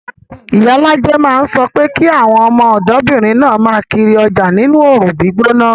Iyalaje máa ń sọ pé kí àwọn ọmọdébìnrin náà máa kiri ọjà nínú oòrùn gbígbóná